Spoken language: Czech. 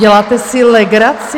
Děláte si legraci?